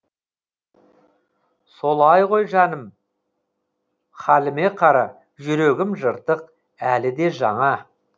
солай ғой жаным хәліме қара жүрегім жыртық әлі де жаңа